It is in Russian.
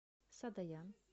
садоян